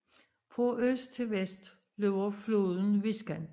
Fra øst til vest løber floden Viskan